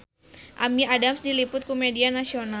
Amy Adams diliput ku media nasional